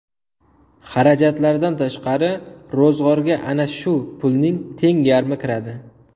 Xarajatlardan tashqari, ro‘zg‘orga ana shu pulning teng yarmi kiradi.